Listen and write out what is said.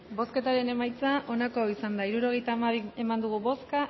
bozketaren emaitza onako izan da hirurogeita hamabi eman dugu bozka